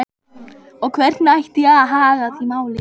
Og hvernig ætti að haga því máli?